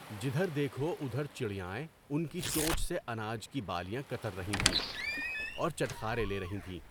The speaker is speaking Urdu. جدھر دیکھو ادھر چڑیائیں ان کی چونچ سے اناج کی بالیاں کتر رہی تھیں اور چٹخارے لے رہی تھیں۔